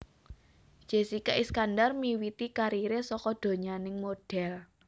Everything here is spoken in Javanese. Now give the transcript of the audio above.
Jessika Iskandar miwiti kariré saka donyaning modhél